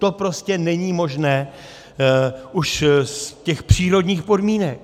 To prostě není možné už z těch přírodních podmínek.